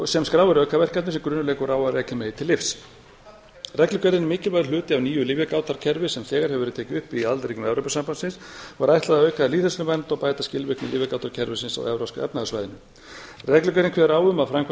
sem skráir aukaverkanir sem grunur leikur á að rekja megi til lyfs reglugerðin er mikilvægur hluti af nýju lyfjagátarkerfi sem þegar hefur verið tekið upp í aðildarríkjum evrópusambandsins og er ætlað að auka lýðheilsuvernd og bæta skilvirkni lyfjagátarkerfisins á evrópska efnahagssvæðinu reglugerð kveður á um að framkvæmd